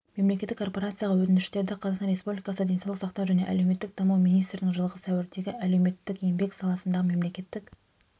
мемлекеттік корпорацияға өтініштерді қазақстан республикасы денсаулық сақтау және әлеуметтік даму министрінің жылғы сәуірдегі әлеуметтік-еңбек саласындағы мемлекеттік